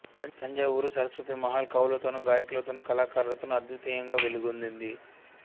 తంజావూరు సరస్వతీ మహల్ కవులతోనూ గాయకులతోనూ కళాకారులతోనూ అద్వితీయంగా వెలుగొందింది